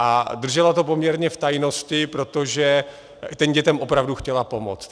A držela to poměrně v tajnosti, protože těm dětem opravdu chtěla pomoct.